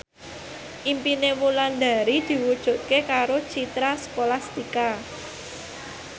impine Wulandari diwujudke karo Citra Scholastika